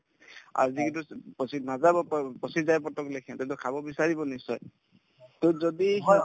আৰু যিকি পচি নাযাব প পচি যায় সিহঁতেতো খাব বিচাৰিব নিশ্চয় to যদি